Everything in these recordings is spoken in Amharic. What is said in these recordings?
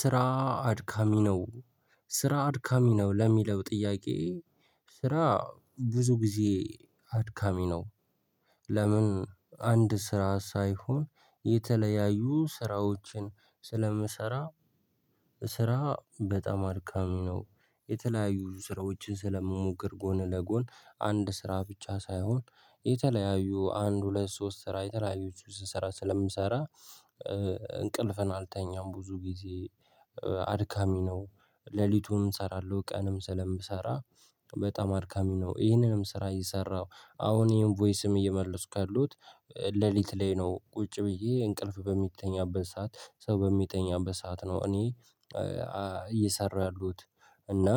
ስራ አድካሚ ነው። ስራ አድካሚ ነው ለሚለው ጥያቄ ስራ ብዙ ጊዜ አድካሚ ነው። ለምን አንድ ስራ ሳይሆን የተለያዩ ስራዎችን ስለምሰራ። ስራ በጣም አድካሚ ነው የተለያዩ ስራዎችን ስለምሞክር ጎን ለጎን አንድ ስራ ብቻ ሳይሆን የተለያዩ አንድ ሁለት ሶስት ስራ የተለያዩትን ስራ ስለምሰራ። እንቅልፍን አልተኛም ብዙ ጊዜ አድካሚ ነው። ሌሊቱን እሰራለሁ ቀንም ስለምሰራ በጣም አድካሚ ነው ይህንንም ስራ እየሰራሁ አሁን ይሄን ቮይስም እየመለስኩ ያሉት። ሌሊት ላይ ነው ቁጭ ብዬ እንቅልፍ በሚተኛበት ሰዓት ሰው በሚተኛበት ሰዓት ነው። እኔ እየሰራሁ ያለሁት። እና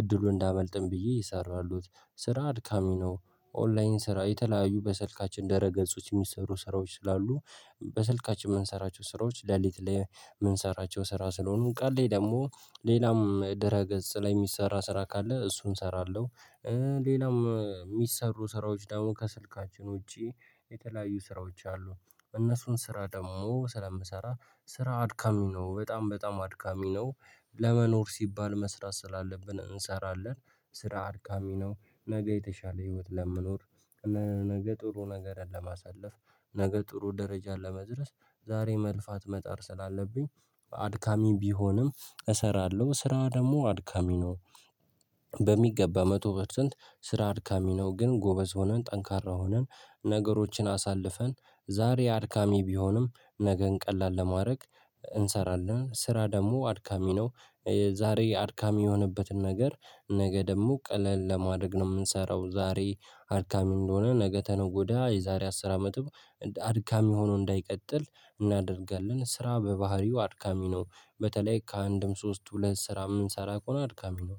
እድሉ እንዳያመልጠኝ ብዬ እየሰራው ያለሁት ስራ አድካሚ ነው። ኦንላይን ስራ የተለያዩ በሰልካችን ደረገጾች የሚሰሩ ስራዎች ስላሉ በሰልካችን የምንሰራቸው ስራዎች ሌሊት ላይ የምንሰራቸው ስራ ስለሆኑ ቀን ላይ ደግሞ ሌላም ድረገጽ ላይ የሚሰራ ስራ ካለ እሱን እሰራለሁ። ሌላም የሚሰሩ ስራዎች ደግሞ ከስልካችን ውጪ የተለያዩ ስራዎች አሉ። እነሱን ስራ ደግሞ ስለምሰራ ስራ አድካሚ ነው በጣም በጣም አድካሚ ነው። ለመኖር ሲባል መስራት ስላለብን እንሰራለን። ስራ አድካሚ ነው። ነገ የተሻለ ህይወት ለምኖር። ነገ ጥሩ ነገርን ለማሳለፍ ነገ ጥሩ ደረጃን ለመድረስ ዛሬ መልፋት መጣር ስላለብኝ አድካሚ ቢሆንም እሰራለሁ ስራ ደግሞ አድካሚ ነው። በሚገባ መቶ ፐርሰንት ስራ አድካሚ ነው። ግን ጎበዝ ሆነን ጠንካራ ሆነን ነገሮችን አሳልፈን ዛሬ አድካሚ ቢሆንም ነገን ቀላል ለማድረግ እንሰራለን። ስራ ደግሞ አድካሚ ነው። ዛሬ አድካሚ የሆነበትን ነገር ነገ ደግሞ ቀለል ለማደርግ ነው የምንሰራው። ዛሬ አድካሚ እንደሆነ ነገ ከነገ ወዲያ የዛሬ አስር አመትም አድካሚ ሆኖ እንዳይቀጥል እናደርጋለን። ስራ በባህሪው አድካሚ ነው በተለይ ከአንድም ሶስት ሁለት ስራ ምንሰራ ከሆነ አድካሚ ነው